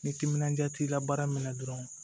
Ni timinandiya t'i la baara minɛ dɔrɔn